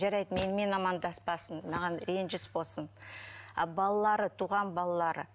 жарайды менімен амандаспасын маған ренжіс болсын а балалары туған балалары